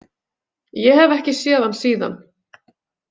Ég hef ekki séð hann síðan.